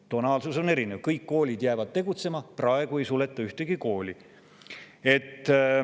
Tonaalsus on erinev: kõik koolid jäävad tegutsema – praegu ei suleta ühtegi kooli.